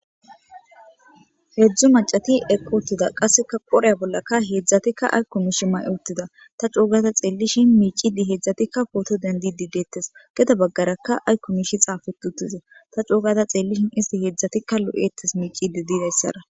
Heedzdzu macati eqqo uttida qasseka qorya bollaka heedzdzatikka aykkomshi may ottida ta coogata xeellishin miicidi heedzdzatikka pooto dendi di deettes geda baggarakka aykkumiishi xaafetutize ta coogata xeellishin isti heedzdzatikka lo7ettes miicidi didayssara.